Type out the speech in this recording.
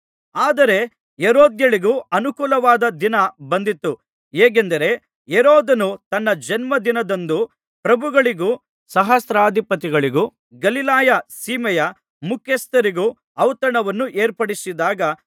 ಆದರೆ ಹೆರೋದ್ಯಳಿಗೆ ಅನುಕೂಲವಾದ ದಿನ ಬಂದಿತು ಹೇಗೆಂದರೆ ಹೆರೋದನು ತನ್ನ ಜನ್ಮದಿನದಂದು ಪ್ರಭುಗಳಿಗೂ ಸಹಸ್ರಾಧಿಪತಿಗಳಿಗೂ ಗಲಿಲಾಯ ಸೀಮೆಯ ಮುಖ್ಯಸ್ಥರಿಗೂ ಔತಣವನ್ನು ಏರ್ಪಡಿಸಿದಾಗ